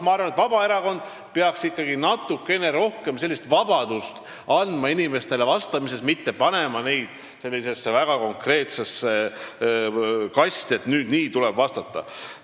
Ma arvan, et Vabaerakond peaks ikkagi natukene rohkem andma inimestele vastamisvõimalustes vabadust, ei ole vaja panna neid väga konkreetsesse kasti, et tuleb nii vastata.